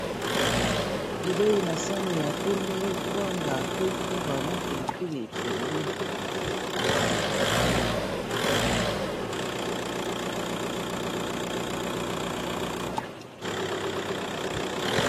Bilei na sani ya pembe kwanga pe fumbwa na pilipili pembeni.